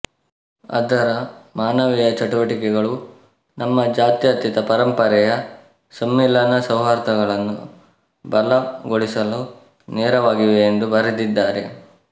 ಅದರ ಮಾನವೀಯ ಚಟುವಟಿಕೆಗಳು ನಮ್ಮ ಜಾತ್ಯತೀತ ಪರಂಪರೆಯ ಸಂಮಿಲನ ಸೌಹಾರ್ದಗಳನ್ನು ಬಲಗೊಳಿಸಲು ನೆರವಾಗಿವೆ ಎಂದು ಬರೆದಿದ್ದಾರೆ